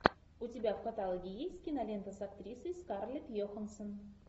у тебя в каталоге есть кинолента с актрисой скарлетт йоханссон